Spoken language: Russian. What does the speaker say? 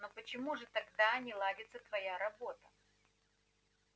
но почему же тогда не ладится твоя работа